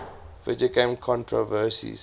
video game controversies